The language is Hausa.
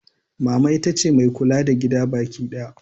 Mama ita ce mai kula da gida bakidaya.